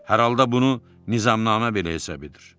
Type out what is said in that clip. Hər halda bunu nizamnamə belə hesab edir.